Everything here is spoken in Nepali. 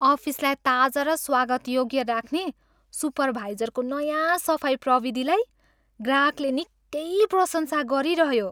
अफिसलाई ताजा र स्वागतयोग्य राख्ने सुपरभाइजरको नयाँ सफाई प्रविधिलाई ग्राहकले निकै प्रशंसा गरिरह्यो।